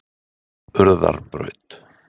Urðarbraut